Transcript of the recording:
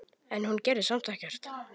En hún gerði samt ekkert.